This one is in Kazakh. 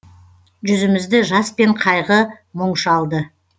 жүзімізді жас пен қайғы мұң шалды